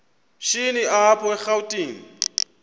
shini apho erawutini